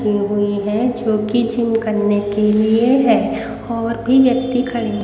की हुई है जो कि जिम करने के लिए है और भी व्यक्ति खड़े--